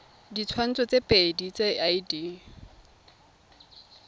ditshwantsho tse pedi tsa id